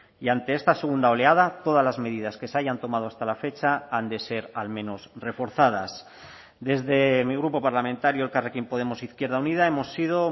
y ante esta segunda oleada todas las medidas que se hayan tomado hasta la fecha han de ser al menos reforzadas desde mi grupo parlamentario elkarrekin podemos izquierda unida hemos sido